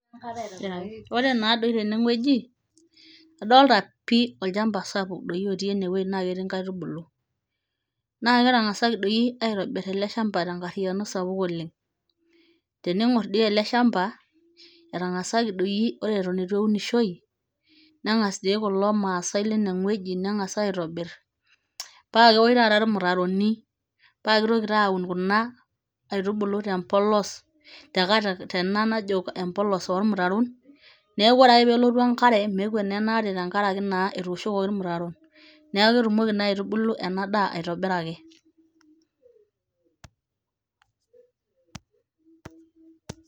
ore naadoi tenewueji idolta pii olchamba sapuk doi otii naa ketii nkaitubulu, naa ketang'asaki doi aitobir ele shamba tenkariano sapuk oleng, tening'or doi ele shamba, etang'asaki doi ore eton eitu eunishoi neng'as doi kulo maasae lenewueji neng'as aitobir. paa keosh taata ilmutaroni, paa kitoki taa awun kuna aitubulu te mpolos, tekat, tena najo empolos olmutaron neeku ore ake peelotu enkare, meekwet naa ena aare tenkaraki naa etooshokoki ilmutaron, neeku ketumoki naa aitubulu ena daa aitobiraki.